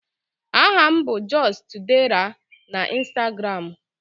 Aha m bụ just_dera na Ịnstagramụ